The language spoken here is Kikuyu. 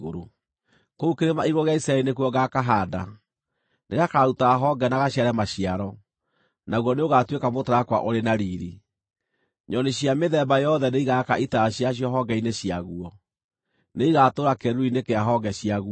Kũu kĩrĩma-igũrũ gĩa Isiraeli nĩkuo ngakahaanda; nĩgakaruta honge na gaciare maciaro, naguo nĩũgatuĩka mũtarakwa ũrĩ na riiri. Nyoni cia mĩthemba yothe nĩigaaka itara ciacio honge-inĩ ciaguo; nĩigatũũra kĩĩruru-inĩ kĩa honge ciaguo.